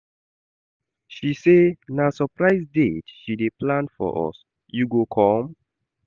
She say na surprise date she dey plan for us, you go come?